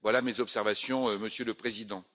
Voilà mes observations, Monsieur le Président.